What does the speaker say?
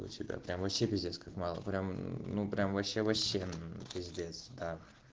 у тебя прям вообще пиздец как мало прям ну прям вообще вообще пиздец да